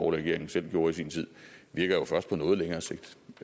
regering selv gjorde i sin tid virker jo først på noget længere sigt